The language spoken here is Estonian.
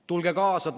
Tulge kaasa!